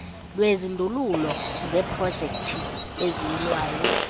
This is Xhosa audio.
lwezindululo zeeprojekthi eziyilwayo